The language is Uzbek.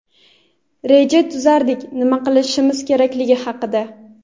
reja tuzardik nima qilishimiz kerakligi haqida.